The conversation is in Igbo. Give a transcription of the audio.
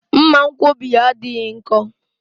Mmanwkọbi ya adịghị nkọ